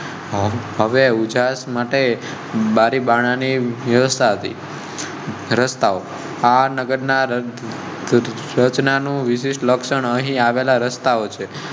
માટે બારી બારા ની વ્યવસ્થા. નગર ના સ્વચ્છતા નું વિશેષ લક્ષણો આવેલા રસ્તાઓ